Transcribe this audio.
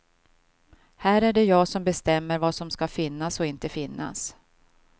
Här är det jag som bestämmer vad som ska finnas och inte finnas.